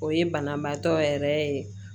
O ye banabaatɔ yɛrɛ ye